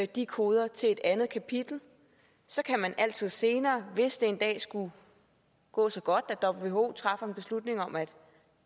de koder til et andet kapitel så kan man altid senere hvis det en dag skulle gå så godt at who træffer en beslutning om at